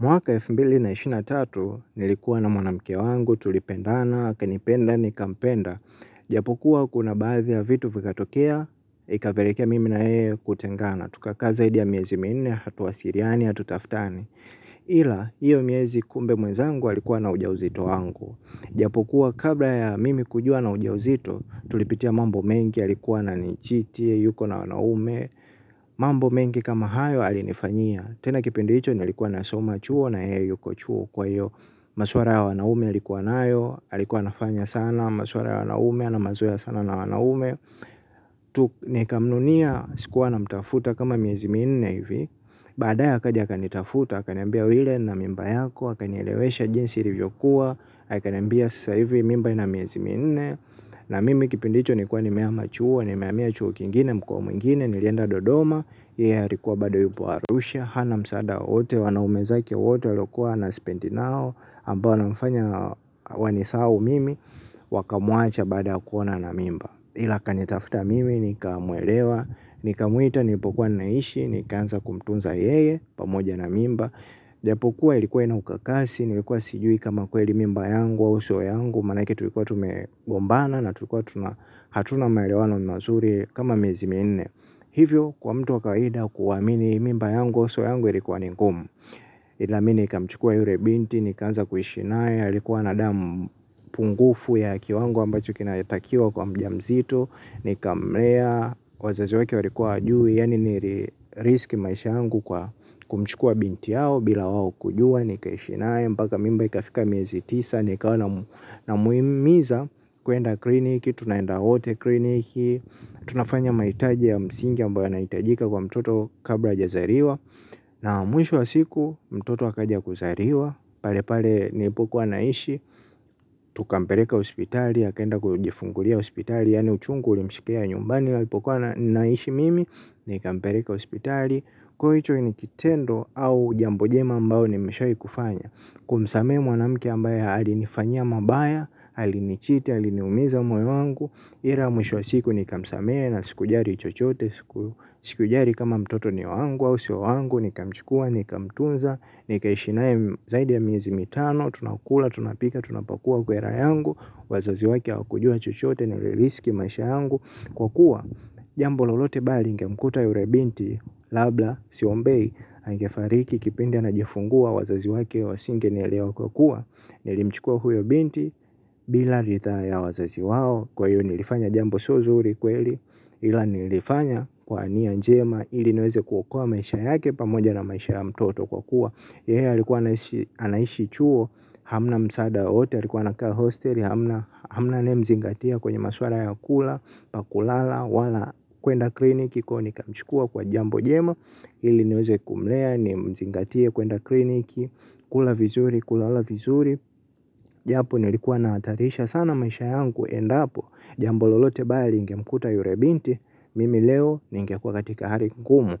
Mwaka elfu mbili na ishirini na tatu nilikuwa na mwanamke wangu tulipendana, akanipenda nikampenda. Ijapokuwa kuna baadhi ya vitu vikatokea, ikapelekea mimi na yeye kutengana. Tuka kaa zaidi ya miezi minne, hatuwasiliani, hatutaftani. Ila, hiyo miezi kumbe mwenzangu alikuwa na uja uzito wangu. Iajpokuwa kabla ya mimi kujua ana ujauzito, tulipitia mambo mengi alikuwa ananichiti alikuwa na wanaume mambo mengi kama hayo alinifanyia. Tena kipindi hicho nilikuwa nasoma chuo na yeye yuko chuo kwa hiyo maswala ya wanaume alikuwa nayo alikuwa anafanya sana maswala ya wanaume ana mazoea sana na wanaume tu nikamnunia sikuwa namtafuta kama miezi minne hivi baadaye akaja akanitafuta akaniambia wile nina mimba yako akanielewesha jinsi ilivyokuwa akaniambia sasa hivi mimba ina miezi minne na mimi kipindi hicho nilikuwa nimehama chuo. Nimehamia chuo kingine mkoa mwingine nilienda Dodoma yeye alikuwa bado yupo Arusha hana msaada wote wanaume zake wote waliokuwa wanasipendi nao ambao wanafanya wanisahau mimi wakamuacha baada ya kuona ana mimba ila akanitafuta mimi nikamuelewa nikamuita nilipokuwa naishi. Nikaanza kumtunza yeye pamoja na mimba ijapokuwa ilikuwa ina ukakasi nilikuwa sijui kama kweli mimba yangu au sio yangu manake tulikuwa tumegombana na tulikuwa hatuna maelewano mazuri kama miezi minne hivyo kwa mtu wa kawaida kuamini mimba yangu sio yangu ilikuwa ni ngumu ila mi nikamchukua yule binti, nikaanza kuishi naye alikuwa na damu pungufu ya kiwango ambacho kinatakiwa kwa mjamzito. Nikamlea, wazazi wake walikuwa hawajui, yaani nilirisk maisha yangu kwa kumchukua binti yao bila wao kujua, nikaishi naye, mpaka mimba ikafika miezi tisa nikawa namhimiza kuenda kliniki, tunaenda wote kliniki tunafanya mahitaji ya msingi ambayo yanahitajika kwa mtoto kabla hajazaliwa na mwisho wa siku mtoto akaja kuzaliwa pale pale nilipokuwa naishi tukampeleka hospitali akaenda kujifungulia hospitali yaani uchungu ulimshikilia nyumbani nilipokuwa naishi mimi nikampeleka hospitali kwaivo hicho ni kitendo au jambo jema ambayo nimeshawahi kufanya kumsamehe mwanamke ambaye alinifanyia mabaya alinichiti aliniumiza moyo wangu ila mwisho siku nikamsamehe na sikujali chochote. Sikujali kama mtoto ni wangu au sio wangu. Nikamchukua nikamtunza. Nikaishi naye zaidi ya miezi mitano tunakula, tunapika, tunapakua kwera yangu wazazi wake hawakujua chochote. Niliriski maisha yangu kwa kuwa jambo lolote baya lingemkuta yule binti labda, siombei angefariki kipindi anajifungua wazazi wake wasingenielewa kwa kuwa nilimchukua huyo binti bila ridhaa ya wazazi wao kwa hiyo nilifanya jambo sio zuri kweli ila nilifanya kwa nia njema ili niweze kuokoa maisha yake pamoja na maisha ya mtoto kwa kuwa yaye alikuwa anaishi anaishi chuo hamna msaada wowote alikuwa anakaa hostel hamna anayemezingatia kwenye maswala ya kula pa kulala wala kwenda kliniki kwaivo nikamchukua kwa jambo jema ili niweze kumlea nimzingatie kwenda kliniki kula vizuri kulala vizuri japo nilikuwa nahatarisha sana maisha yangu endapo jambo lolote baya lingemkuta yule binti mimi leo ningekuwa katika hali ngumu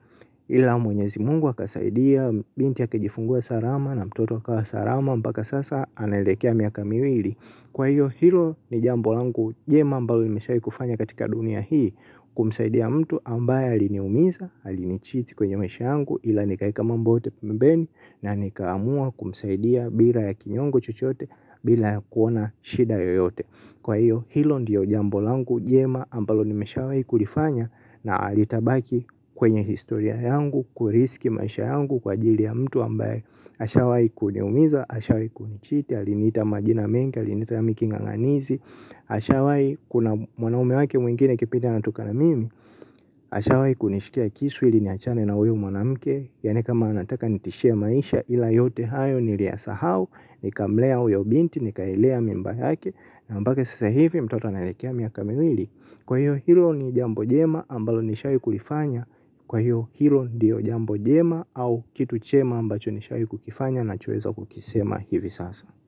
ila mwenyezi Mungu akasaidia. Binti akajifungua salama na mtoto akawa salama mpaka sasa anaelekea miaka miwili kwa hiyo hilo ni jambo langu jema ambalo nimeshawai kufanya katika dunia hii kumsaidia mtu ambaye aliniumiza, alinichiti kwenye maisha yangu ila nikaeka mambo yote pembeni na nikaamua kumsaidia bila ya kinyongo chochote bila kuona shida yoyote kwa hiyo hilo ndiyo jambo langu jema ambalo nimeshawai kulifanya na litabaki kwenye historia yangu. Kurisiki maisha yangu kwa ajili ya mtu ambaye ashawai kuniumiza, ashawai kunichiti. Aliniita majina mengi, aliniita mi king'ang'anizi ashawai kuna mwanume wake mwingine kipindi ananitukana mimi ashawai kunishikia kisu ili niachane na huyu mwanamke yaani kama anataka nitishie maisha ila yote hayo niliyasahau nikamlea huyo binti nikailea mimba yake na mpaka sasa hivi mtoto anaelekea miaka miwili kwa hiyo hilo ni jambo jema ambalo nishawai kulifanya kwa hiyo hilo ndiyo jambo jema au kitu chema ambacho nishawai kukifanya nachoweza kukisema hivi sasa.